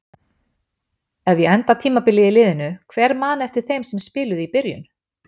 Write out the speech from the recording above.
Ef ég enda tímabilið í liðinu, hver man eftir þeim sem spiluðu í byrjun?